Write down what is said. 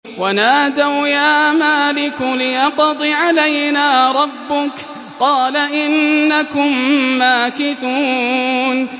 وَنَادَوْا يَا مَالِكُ لِيَقْضِ عَلَيْنَا رَبُّكَ ۖ قَالَ إِنَّكُم مَّاكِثُونَ